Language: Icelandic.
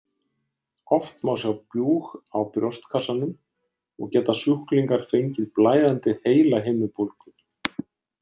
Oft má sjá bjúg á brjóstkassanum og geta sjúklingar fengið blæðandi heilahimnubólgu.